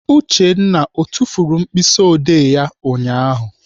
Uchenna ọ tufuru mkpịsịodee ya ụnyaahụ?